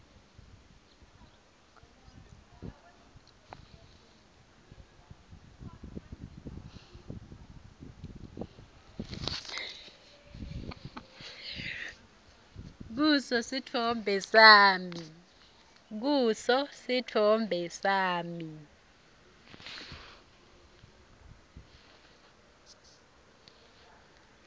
kuso sitfombe sami